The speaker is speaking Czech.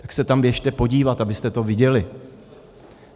Tak se tam běžte podívat, abyste to viděli.